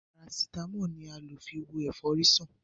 parasitámọ́lù ni a lo fi wo efori san.